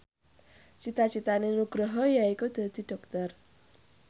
cita citane Nugroho yaiku dadi dokter